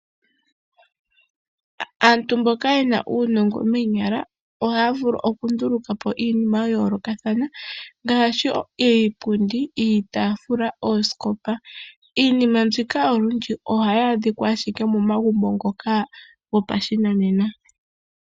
Aantu mboka yena uunongo moonyala ohaya vulu oku ndulukapo iinima ya yoolokathana ngaashi iipundi, iitafuula, oosikopa. Iinima mbika olundji ohayi adhikwa ashike momagumbo ngoka gopa shi nanena.